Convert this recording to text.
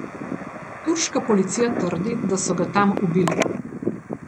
Turška policija trdi, da so ga tam ubili.